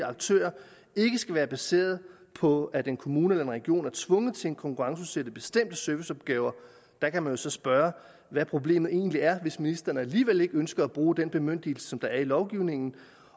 aktører ikke skal være baseret på at en kommune eller en region er tvunget til at konkurrenceudsætte bestemte serviceopgaver der kan man så spørge hvad problemet egentlig er hvis ministeren alligevel ikke ønsker at bruge den bemyndigelse som der er i lovgivningen